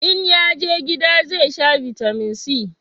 in yaje gida zai sha bitamin c